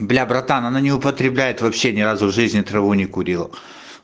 бля братан она не употребляет вообще ни разу в жизни траву не курила